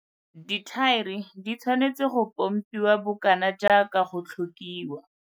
Dithaere di tshwanetswe go pompiwa bokana jaaka go tlhokiwa.